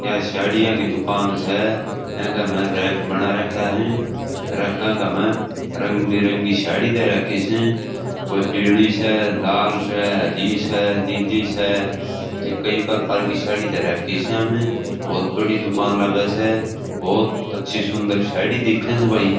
यह साडिया की दुकान स एका मे रैक बना राख्या है रैका का में रंगबेरंगी साडी धर राखी स कोई पिली स लाल स हरी स नीली स ये कई प्रकार की साडी दे राखी से मे बहुत बड़ी दुकान लागे से बहुत अच्छी सुन्दर साड़ी दिखे स भाई।